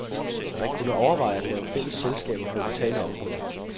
Man kunne overveje at lave fælles selskaber på vitale områder.